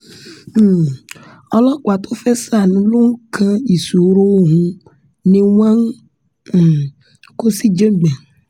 um ọlọ́pàá tó fẹ́ẹ́ sàánú ló ń kan ìṣòro òun ni wọ́n ń um kó síjàngbọ̀n